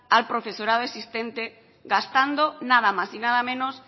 al profesorado existente gastando nada más y nada menos